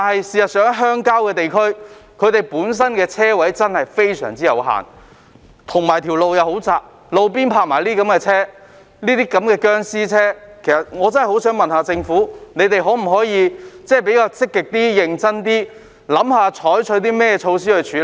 事實上，鄉郊地區本身的車位真的非常有限，道路又非常狹窄，而路邊還停泊這類"殭屍車"，政府能否積極、認真思考採取措施處理？